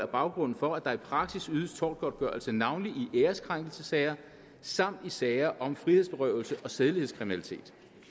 baggrunden for at der i praksis ydes tortgodtgørelse navnlig i æreskrænkelsessager samt i sager om frihedsberøvelse og sædelighedskriminalitet